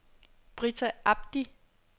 Brita Abdi